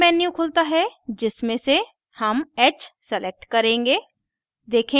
menu खुलता है जिसमे से हम h select करेंगे